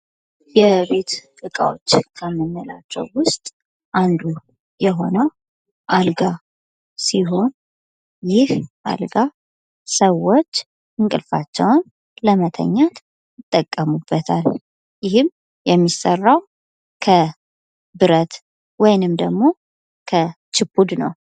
የቤት እቃዎች ከምንላዎች ዉስጥ አንዱ የሆነው አልጋ ሲሆን ይህ አልጋ ሰዎች እንቅልፋቸውን ለመተኛት ይጠቀሙበታል። ይህም የሚሰራው ከብረት ወይም ደግሞ ከችፑድ ነው።